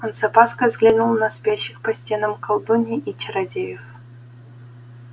он с опаской взглянул на спящих по стенам колдуний и чародеев